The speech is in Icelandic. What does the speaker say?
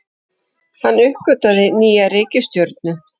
Hann uppgötvaði nýja reikistjörnu!